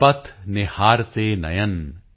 ਪਥ ਨਿਹਾਰਤੇ ਨਯਨ